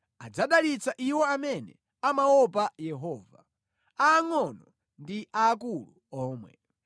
adzadalitsa iwo amene amaopa Yehova; aangʼono ndi aakulu omwe.